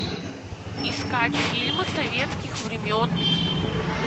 искать фильмы советских времен